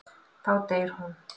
Þá deyr hún.